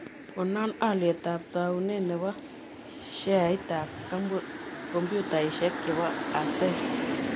Konon alyetap taawunet ne po sheaitap kompyutaisiek chebo acer